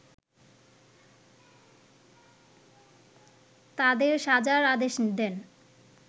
তাদের সাজার আদেশ দেন